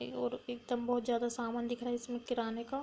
एए और एकदम बोहोत जादा सामान दिखाई दे रहा है इसमें किराने का।